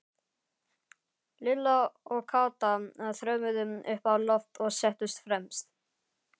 Lilla og Kata þrömmuðu upp á loft og settust fremst.